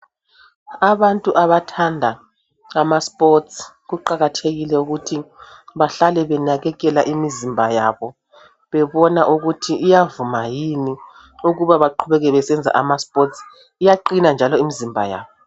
Abantu abathanda ama sports, kuqakathekile ukuthi bahlale benakekela imizimba yabo, bebona ukuthi iyavuma yini ukuba baqhubeke besenza ama sports. Iyaqina njalo imzimba yabo.